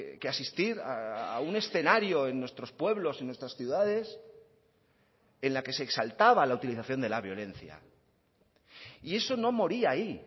que asistir a un escenario en nuestros pueblos y nuestras ciudades en la que se exaltaba la utilización de la violencia y eso no moría ahí